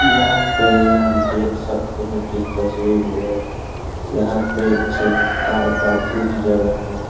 यहाँ पे हम देख सकते हे इस तस्वीर में यहाँ पे से कार पार्किंग की जगह है ।